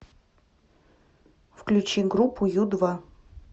включи группу ю два